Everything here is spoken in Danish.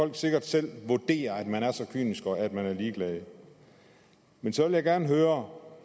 kan sikkert selv vurdere at man er så kynisk og at man er ligeglad men så vil jeg gerne høre